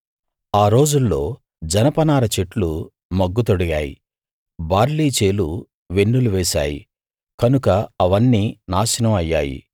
ఆ రోజుల్లో జనపనార చెట్లు మొగ్గ తొడిగాయి బార్లీ చేలు వెన్నులు వేశాయి కనుక అవన్నీ నాశనం అయ్యాయి